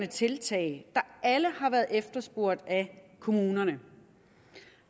tiltag der alle har været efterspurgt af kommunerne